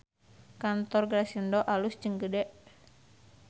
Kantor Grasindo alus jeung gede